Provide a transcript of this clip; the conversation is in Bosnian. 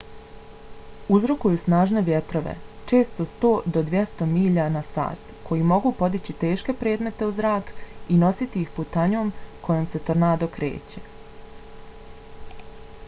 uzrokuju snažne vjetrove često 100-200 milja/sat koji mogu podići teške predmete u zrak i nositi ih putanjom kojom se tornado kreće